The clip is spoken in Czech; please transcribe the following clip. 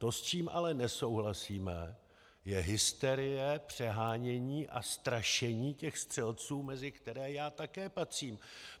To, s čím ale nesouhlasíme, je hysterie, přehánění a strašení těch střelců, mezi které já také patřím.